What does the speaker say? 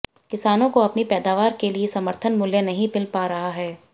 किसानों को अपनी पैदावार के लिए समर्थन मूल्य नहीं मिल पा रहा है